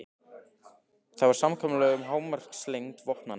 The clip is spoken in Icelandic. Það var samkomulag um hámarkslengd vopnanna.